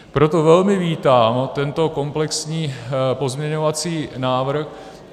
Proto velmi vítám tento komplexní pozměňovací návrh.